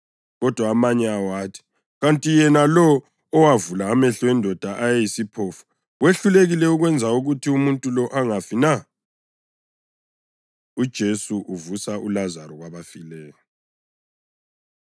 Kodwa amanye awo athi, “Kanti yena lo owavula amehlo endoda eyayiyisiphofu wehlulekile ukwenza ukuthi umuntu lo angafi na?” UJesu Uvusa ULazaro Kwabafileyo